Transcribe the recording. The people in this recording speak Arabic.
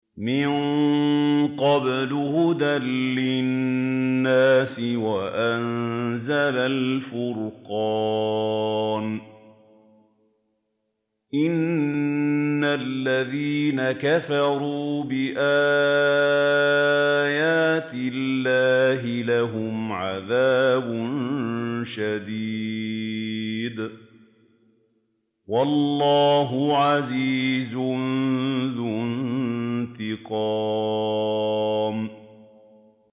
مِن قَبْلُ هُدًى لِّلنَّاسِ وَأَنزَلَ الْفُرْقَانَ ۗ إِنَّ الَّذِينَ كَفَرُوا بِآيَاتِ اللَّهِ لَهُمْ عَذَابٌ شَدِيدٌ ۗ وَاللَّهُ عَزِيزٌ ذُو انتِقَامٍ